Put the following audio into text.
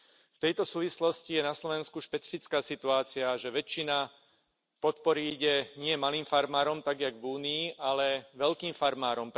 V tejto súvislosti je na Slovensku špecifická situácia, že väčšina podpory ide nie malým farmárom, tak ako v Únii, ale veľkým farmárom.